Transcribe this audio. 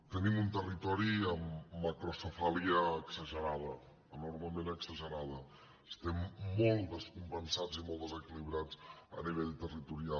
tenim un territori amb macrocefàlia exagerada enormement exagerada estem molt descompensats i molt desequilibrats a nivell territorial